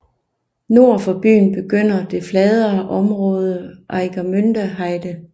Nord for byen begynder det fladere område Ueckermünder Heide